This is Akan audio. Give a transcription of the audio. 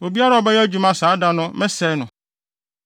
Obiara a ɔbɛyɛ adwuma saa da no mɛsɛe no.